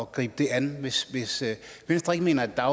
gribe det an hvis venstre ikke mener at